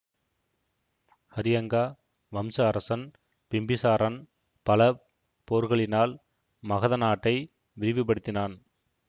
ஹரியங்கா வம்ச அரசன் பிம்பிசாரன் பல போர்களினால் மகத நாட்டை விரிவு படுத்தினான்